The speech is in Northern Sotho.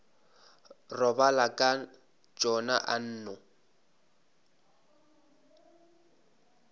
robala ka tšona a nno